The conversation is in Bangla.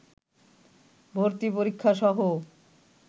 ভর্তি পরীক্ষাসহ